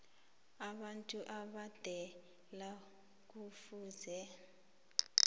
abantu abadala kufuze